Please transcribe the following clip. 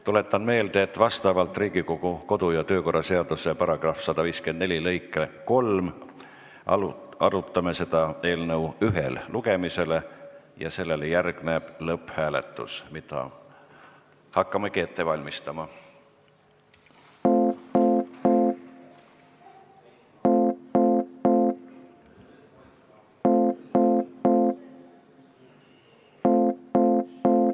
Tuletan meelde, et vastavalt Riigikogu kodu- ja töökorra seaduse § 154 lõikele 3 arutame seda eelnõu ühel lugemisel ja sellele järgneb lõpphääletus, mida hakkamegi ette valmistama.